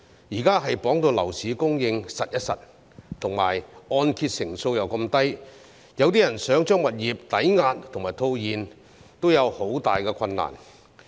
現在樓市供應被綁死，按揭成數又這麼低，有些人想把物業抵押和套現，亦很困難。